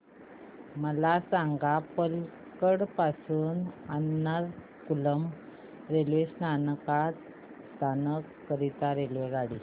मला सांग पलक्कड पासून एर्नाकुलम रेल्वे स्थानक करीता रेल्वेगाडी